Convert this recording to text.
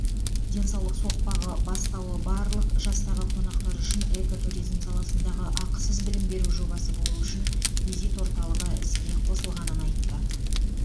денсаулық соқпағы бастауы барлық жастағы қонақтар үшін экотуризм саласындағы ақысыз білім беру жобасы болу үшін визит орталығы іске қосылғанын айтты